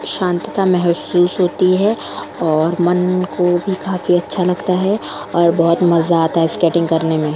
शांतता महसूस होती है और मन को भी काफी अच्छा लगता है और बहुत मजा आता है स्केटिंग करने में --